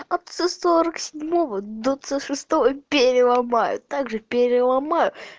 отцу сорок седьмого двадцать шестого переломаю также переломаю